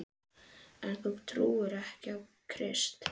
En þú trúir þó á Krist?